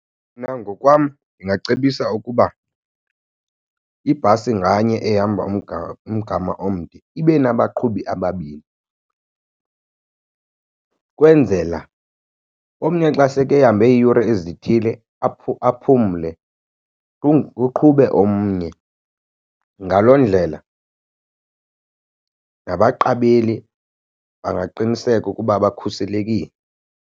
Mna ngokwam ndingacebisa ukuba ibhasi nganye ehamba umgama omde ibe nabaqhubi ababini, kwenzela omnye xa seke hambe iiyure ezithile aphumle kuqhube omnye. Ngaloo ndlela nabaqabeli bangaqiniseka ukuba bakhuselekile.